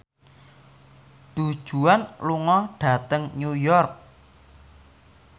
Du Juan lunga dhateng New York